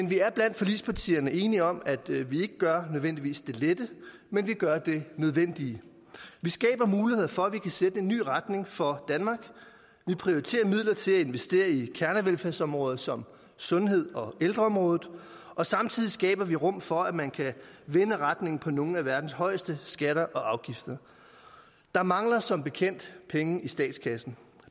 vi er blandt forligspartierne enige om at vi ikke nødvendigvis gør det lette men vi gør det nødvendige vi skaber muligheder for at vi kan sætte en ny retning for danmark vi prioriterer midler til at investere i kernevelfærdsområder som sundhed og ældreområdet og samtidig skaber vi rum for at man kan vende retningen for nogle af verdens højeste skatter og afgifter der mangler som bekendt penge i statskassen